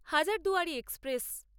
Hazarduari express